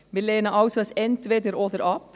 Wir lehnen also das Entweder-Oder ab.